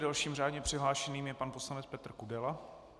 Dalším řádně přihlášeným je pan poslanec Petr Kudela.